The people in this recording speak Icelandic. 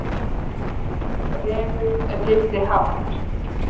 Refur lifði hátt